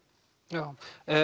já